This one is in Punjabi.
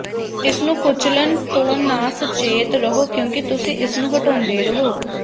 ਇਸ ਨੂੰ ਕੁਚਲਣ ਤੋਂ ਨਾ ਸਚੇਤ ਰਹੋ ਕਿਉਂਕਿ ਤੁਸੀਂ ਇਸ ਨੂੰ ਹਟਾਉਂਦੇ ਹੋ